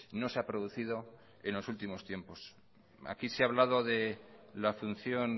no se ha producido en los últimos tiempos aquí se ha hablado de la función